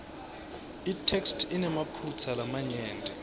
itheksthi inemaphutsa lamanyenti